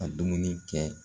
Ka dumuni kɛ